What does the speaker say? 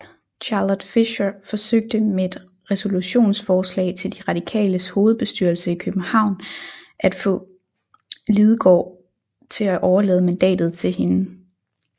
Charlotte Fischer forsøgte med et resolutionsforslag til de Radikales hovedbestyrelse i København at få Lidegaard til overlade mandatet til hende